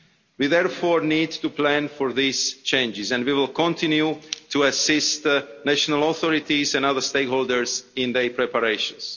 We therefore need to plan for these changes and we will continue to assist the national authorities and other stakeholders in their preparations.